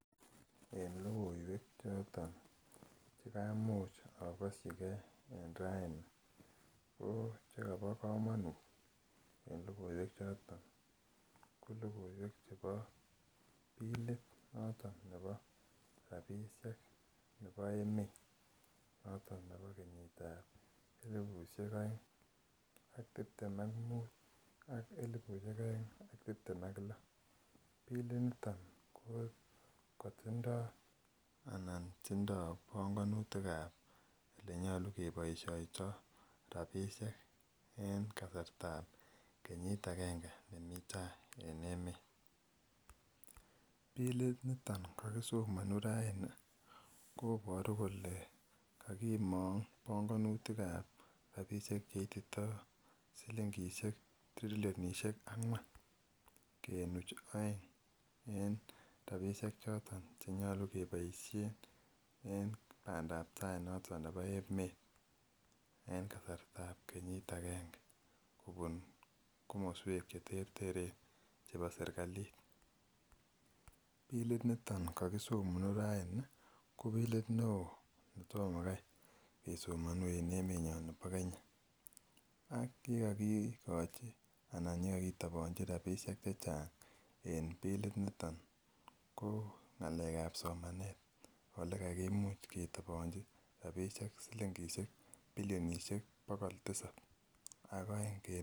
En lokoiwek choton chekaimuch okoshigee Rani ko chekobo komonut en lokoiwek choton ko lokoiwek chebo bilit noton nebo rabishek nebo emet noton nebo kenyitab elibushek oeng ak tiptem ak mut ak elibushek oeng ak tiptem ak loo. Bilit niton ko kotindo anan tindo bongonutikab olenyolu keboishoto rabishek en kasartab kenyit agenge nemii tai en emet. Bilit niton kokisomonu raini koboru kole kokimong bongonutikab rabishek cheitito silingishek trilionishek angwan kenuch oeng en rabishek choton cheyolu keboishen en pandap tai noton nebo emet en kasarta kenyit agenge kobun komoswek cheterteren chebo serikali, bilit niton kokisomonu raini ko bilit neo netomo Kai kesomoni en emenyon bo Kenya ak kikokigochi anan kikokitobonchi rabishek chechang en bilit niton ko ngalekab somanet olekakimuch kitobonchi rabishek silingishek bilionishek bokol tisabi ak oeng kenuch.